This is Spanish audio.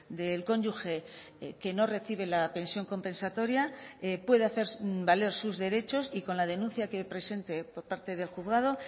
del cónyuge que no recibe la pensión compensatoria puede hacer valer sus derechos y con la denuncia que presente por parte del juzgado